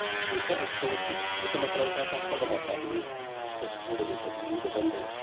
A shekarar da ta wuce, wata makaranta ta karrama dalibai da suka fito daga ƙabilu daban-daban.